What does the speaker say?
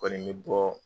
Kɔni bɛ bɔ